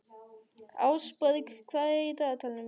Ásborg, hvað er á dagatalinu í dag?